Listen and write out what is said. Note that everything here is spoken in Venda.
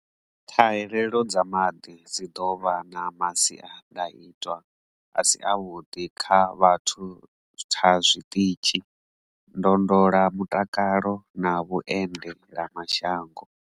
Ṱhahalelo dza maḓi dzi ḓo vha na masiandaitwa a si avhuḓi kha vhuthatha zwiṱitshi, ndondolamutakalo na vhuende lamashango.